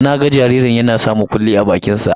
Na ga jaririn yana sa mukullin a bakinsa.